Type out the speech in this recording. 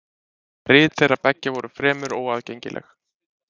rit þeirra beggja voru fremur óaðgengileg